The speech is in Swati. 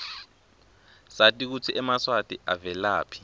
sati kutsi emaswati avelaphi